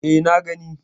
E, na gani.